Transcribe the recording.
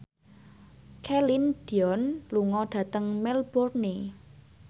Celine Dion lunga dhateng Melbourne